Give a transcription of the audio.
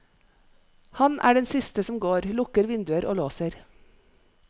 Han er den siste som går, lukker vinduer og låser.